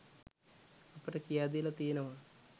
අපට කියා දීලා තියෙනවා.